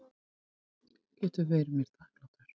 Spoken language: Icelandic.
Getur verið mér þakklátur.